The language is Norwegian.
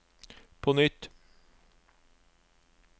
på nytt